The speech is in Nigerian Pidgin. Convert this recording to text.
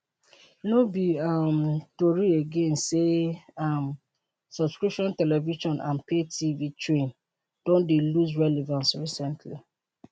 no be um tori again say um subscription television and pay tv train don dey lose relevance recently